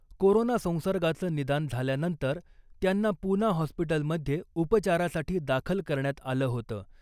Corona संसर्गाचं निदान झाल्यानंतर त्यांना पूना हॉस्पिटलमध्ये उपचारासाठी दाखल करण्यात आलं होतं .